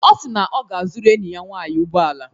Ọ si na ọ ga-azụrụ enyi ya nwaanyị ụgbọala.